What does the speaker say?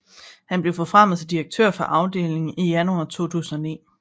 Han blev forfremmet til direktør for afdelingen i januar 2009